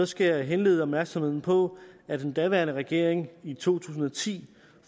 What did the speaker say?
skal jeg henlede opmærksomheden på at den daværende regering i to tusind og ti